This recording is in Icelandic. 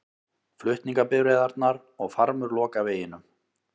Flutningabifreiðarnar og farmur loka veginum